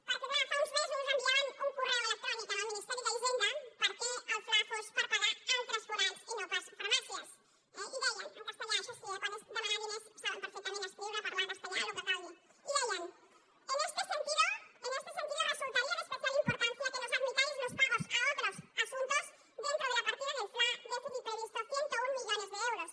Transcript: perquè clar fa uns mesos enviaven un correu electrònic al ministeri d’hisenda perquè el fla fos per pagar altres forats i no pas farmàcies eh i deien en castellà això sí eh quan és demanar diners saben perfectament escriure parlar castellà el que calgui i deien en este sentido resultaría de especial importancia que nos admitáis los pagos a otros asuntos dentro de la partida del fla déficit previsto cent i un millones euros